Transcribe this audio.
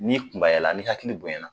N'i kunbayala n'i hakili bonyayana